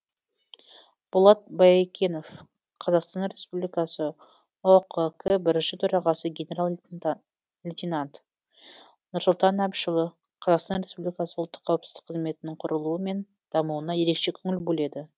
болат баекенов қазақстан республикасы ұқк бірінші төрағасы генерал лейтенант нұрсұлтан әбішұлы қазақстан республикасы ұлттық қауіпсіздік қызметінің құрылуы мен дамуына ерекше көңіл бөледі